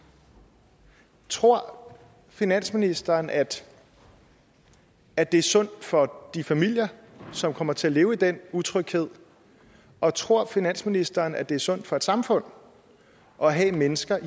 tror finansministeren at at det er sundt for de familier som kommer til at leve i den utryghed og tror finansministeren at det er sundt for et samfund at have mennesker